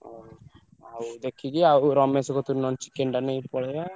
ହଉ ଆଉ ଦେଖିକି ନହେଲେ ରମେଶ କତିରୁ ନହେଲେ chicken ନେଇକି ପଳେଇବ।